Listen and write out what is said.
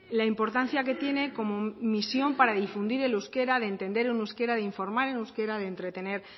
la importancia que tiene como misión para difundir el euskera de entender en euskera de informar en euskera de entretener